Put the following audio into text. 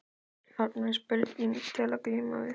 Þarna er spurning til að glíma við.